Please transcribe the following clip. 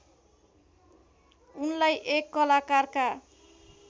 उनलाई एक कलाकारका